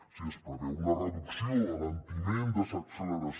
si es preveu una reducció alentiment desacceleració